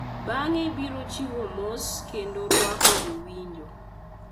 Bang’e biro chiwo mos kendo rwako jowinjo.